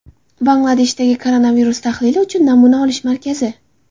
Bangladeshdagi koronavirus tahlili uchun namuna olish markazi.